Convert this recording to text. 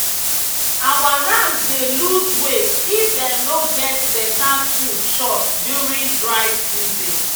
our rams dey loose weight if dem no get better food chop during dry season